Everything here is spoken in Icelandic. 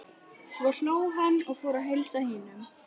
Svo hló hún og fór að heilsa hinum.